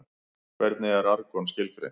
Hvernig er argon skilgreint?